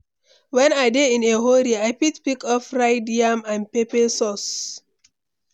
When I dey in a hurry, I fit pick up fried yam and pepper sauce.